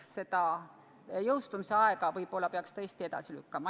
Seda jõustumise aega võib-olla peaks tõesti edasi lükkama.